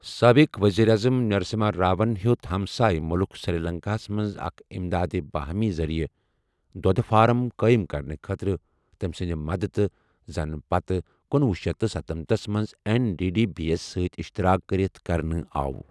سٲبقہٕ ؤزیٖر اعظم نٔرسِمہا راون ہِیو٘ت ہمسایہ مُلٕک سِری لنٛکاہس منٛز اَکھ امدادِ باہمی ذریعہ دودھہٕ فارم قٲیِم کرنہٕ خٲطرٕتمہِ سٗند مدتھ یہِ زن پتہٕ کنۄہ شیتھ ستَنمتھس منٛز ایٚن ڈی ڈی بی یس سٕتہِ اِشتراک كرِتھ کرنہٕ آو ۔